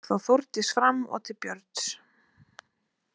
Gekk þá Þórdís fram og til Björns.